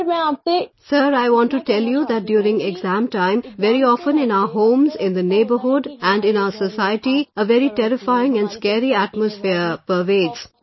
"Sir, I want to tell you that during exam time, very often in our homes, in the neighbourhood and in our society, a very terrifying and scary atmosphere pervades